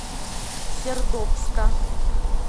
сердобска